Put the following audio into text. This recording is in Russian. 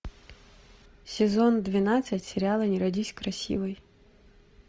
сезон двенадцать сериала не родись красивой